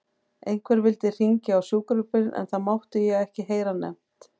Einhver vildi hringja á sjúkrabíl en það mátti ég ekki heyra nefnt.